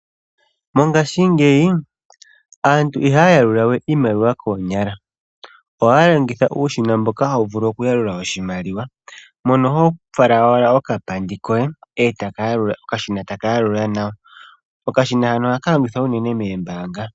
Mongaashingeyi aantu ihaya yalula we iimaliwa koonyala, ohaya longitha uushina mboka hawu vulu okuyalula oshimaliwa mono ho fala owala okapandi koye okashina etaka yalula nawa. Okashina hano ohaka longithwa uunene moombaanga.